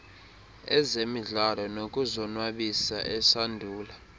ezemidlalo nokuzonwabisa esandula